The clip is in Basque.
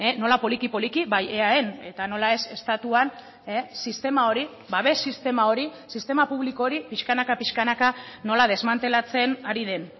nola poliki poliki bai eaen eta nola ez estatuan sistema hori babes sistema hori sistema publiko hori piskanaka piskanaka nola desmantelatzen ari den